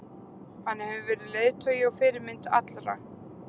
Hann hefur verið leiðtogi og fyrirmynd fyrir alla.